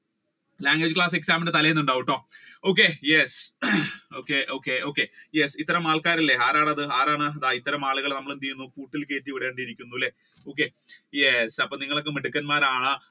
language class ഇന്റെ തല്ലെന്ന് ഉണ്ടാവൂട്ടോ okay yes okay okay okay yes ഇത്തരം ആൾക്കാർ ഇല്ലേ ആരാണ് അത് ആരാണ് ദാ ഇത്തരം ആൾക്കാരെ നാം എന്തെയുന്നു കൂട്ടിൽ കേറ്റി വിടേണ്ടിയിരിക്കുന്നു അല്ലെ അപ്പൊ നിങ്ങൾ ഒക്കെ മിടുക്കന്മാർ